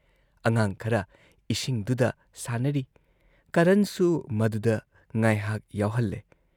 ꯑꯉꯥꯥꯡ ꯈꯔ ꯏꯁꯤꯡꯗꯨꯗ ꯁꯥꯟꯅꯔꯤ, ꯀꯔꯟꯁꯨ ꯃꯗꯨꯗ ꯉꯥꯢꯍꯥꯛ ꯌꯥꯎꯍꯜꯂꯦ ꯫